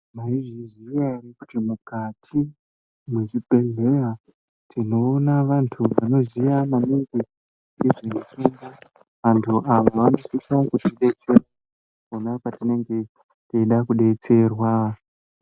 Mwaizviziya ere kutiMukati mwezvibhedhleya tinoona maningi vantu vanoziya maningi ngezveutenda vantu ava vanosise kuti detsera pona patinge teide kudetserwa.